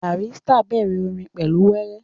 Barrister bẹ̀rẹ̀ orin pẹ̀lú wéré